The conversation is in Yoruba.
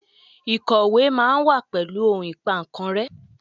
Ikọwe ma wa pẹlu ohun Ìpà kan rẹ́